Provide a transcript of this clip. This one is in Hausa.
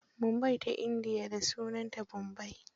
Mumbai Ta indiya, da sunanta Bombai.